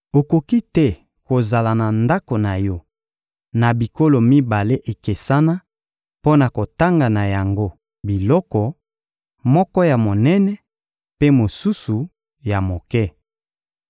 Okoki te kozala na ndako na yo na bikolo mibale ekesana mpo na kotanga na yango biloko: moko ya monene mpe mosusu ya moke.